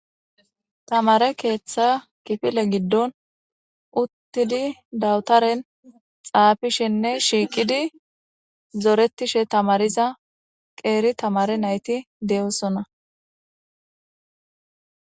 Tamare keeththa kifile giddon uttidi dawutaren xaafishenne shiiqidi zoretishe tamariza qeeri tamare nayti de7osona